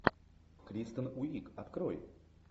кристен уиг открой